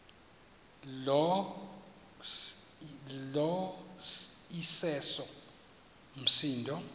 lo iseso msindo